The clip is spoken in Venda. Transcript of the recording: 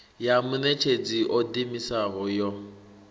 ya muṋetshedzi o ḓiimisaho yo